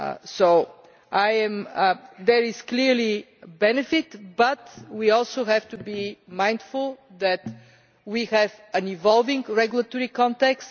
So there is clearly a benefit, but we also have to be mindful that we have an evolving regulatory context.